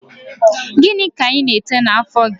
Gịnị ka ị na-ete n'àfọ́ gị?